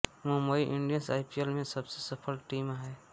Mumbai Indians IPL में सबसे सफल टीम है